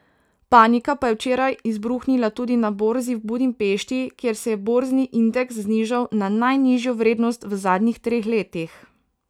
Panika pa je včeraj izbruhnila tudi na borzi v Budimpešti, kjer se je borzni indeks znižal na najnižjo vrednost v zadnjih treh letih.